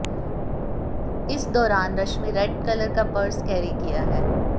इस दौरान Rashmi red colour का पर्स कैरी किया है